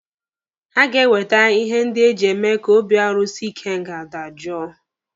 Ha ga-ewete ihe ndị eji eme ka obi arusi ikenga dajoo